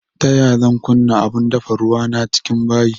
Ta yaya zan kunna abun dafa ruwa na cikin bayi